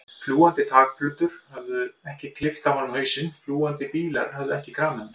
Fljúgandi þakplötur höfðu ekki klippt af honum hausinn, fjúkandi bílar höfðu ekki kramið hann.